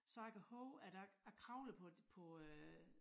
Så jeg kan hove at jeg jeg kravlede på på øh